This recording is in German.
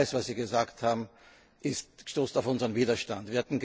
Alles, was Sie gesagt haben, stößt auf unseren Widerstand.